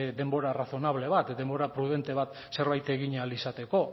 denbora razonable bat denbora prudente bat zerbait egin ahal izateko